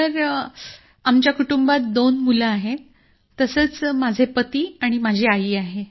sir आमच्या कुटुंबात दोन मुलं आहेत मी माझे पती आणि माझी आई आहे